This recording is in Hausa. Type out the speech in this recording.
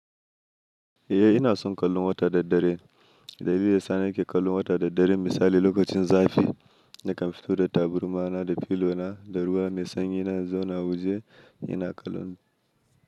Eh ina son kallon wata da dare. Dalili ya sa na ke kallon wata da dare misali lokacin zafi da ka fito da taburma na da filo na da ruwa mai sanyi na zauna waje ina kallon.